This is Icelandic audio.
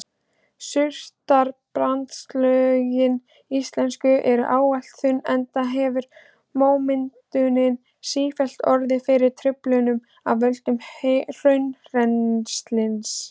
Surtarbrandslögin íslensku eru ávallt þunn enda hefur mómyndunin sífellt orðið fyrir truflunum af völdum hraunrennslis.